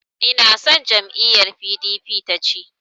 Inason jam'iyyar PDP ta ci.